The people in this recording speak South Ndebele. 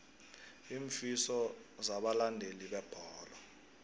iinfiso zabalandeli bebholo